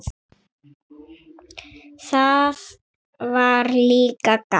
Það var líka gaman.